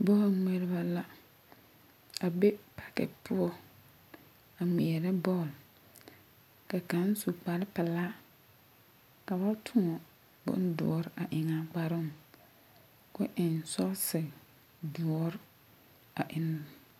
Bɔɔlŋmeɛreba la a be pake poɔ a ŋmeɛrɛ bɔɔl. Ka kaŋ su kparpelaa ka ba tõɔ bondoɔr a eŋ’a kparoo, k'o eŋ sɔɔse doɔr a eŋ...